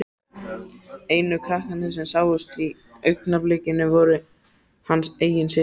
Einu krakkarnir sem sáust í augnablikinu voru hans eigin systur.